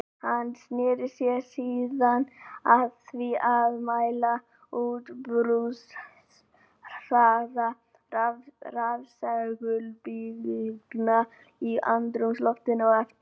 Hann sneri sér síðan að því að mæla útbreiðsluhraða rafsegulbylgna í andrúmsloftinu og eftir vír.